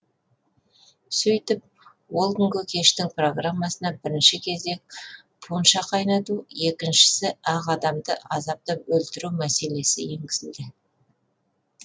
сөйтіп ол күнгі кештің программасына бірінші кезек пунша қайнату екіншісі ақ адамды азаптап өлтіру мәселесі енгізілді